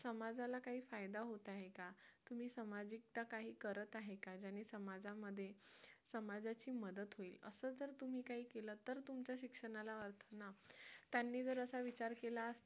समाजाला काही फायदा होत आहे का तुम्ही सामाजिकता काही करत आहे का ज्याने समाजामध्ये समाजाची मदत होईल असं जर तुम्ही काही केलं तर तुमच्या शिक्षणाला अर्थ आहे त्यांनी जर असा विचार केला असता